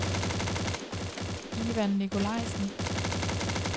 Ivan Nikolajsen